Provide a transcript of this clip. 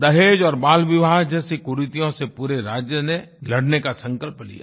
दहेज़ और बालविवाह जैसी कुरीतियों से पूरे राज्य ने लड़ने का संकल्प लिया